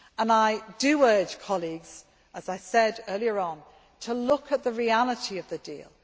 I do urge colleagues, as I said earlier on, to look at the reality of the deal.